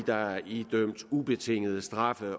der er idømt ubetinget straf